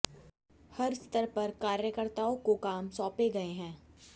हर स्तर पर कार्यकर्ताओं को काम सौपे गए हैं